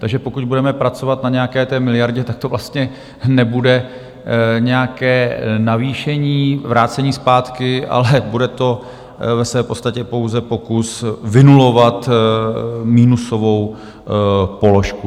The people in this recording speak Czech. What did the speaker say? Takže pokud budeme pracovat na nějaké té miliardě, tak to vlastně nebude nějaké navýšení, vrácení zpátky, ale bude to ve své podstatě pouze pokus vynulovat minusovou položku.